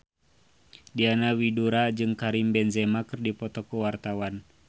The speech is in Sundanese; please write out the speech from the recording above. Diana Widoera jeung Karim Benzema keur dipoto ku wartawan